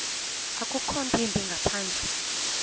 akukho ntwimbi ngaphandle